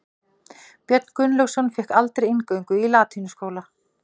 Björn Gunnlaugsson fékk aldrei inngöngu í latínuskóla.